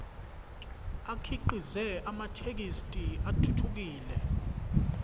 akhiqize amathekisthi athuthukile